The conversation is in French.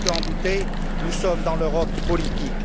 Si quelqu'un en doutait, nous sommes dans l'Europe politique.